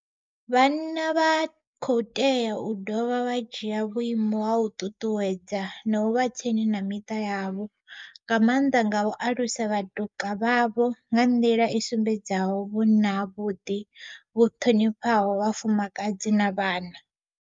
Vhanna vha khou tea u dovha vha dzhia vhuimo ha u ṱuṱuwedza na u vha tsini na miṱa yavho, nga maanḓa nga u alusa vhatuka vhavho nga nḓila i sumbedzaho vhunna havhuḓi vhu ṱhonifhaho vhafumakadzi na vhana.